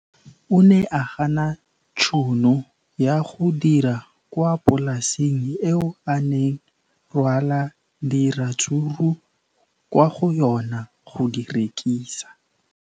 O ne a gana tšhono ya go dira kwa polaseng eo a neng rwala diratsuru kwa go yona go di rekisa.